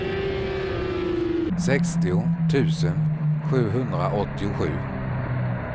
sextio tusen sjuhundraåttiosju